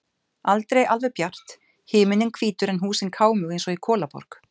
Aldrei alveg bjart, himinninn hvítur en húsin kámug eins og í kolaborg.